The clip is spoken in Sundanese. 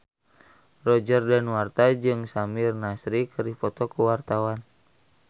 Roger Danuarta jeung Samir Nasri keur dipoto ku wartawan